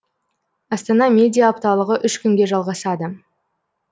астана медиа апталығы үш күнге жалғасады